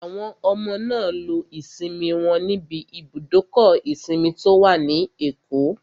Àwọn ọmọ náà lo ìsinmi wọn níbi ibùdókọ̀ ìsinmi tó wà ní Èkó